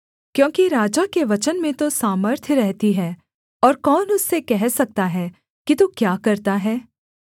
क्योंकि राजा के वचन में तो सामर्थ्य रहती है और कौन उससे कह सकता है कि तू क्या करता है